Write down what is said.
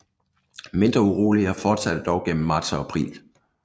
Mindre uroligheder fortsatte dog gennem marts og april